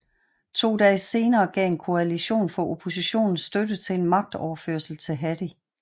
To dage senere gav en koalition fra oppositionen støtte til en magtoverførsel til Hadi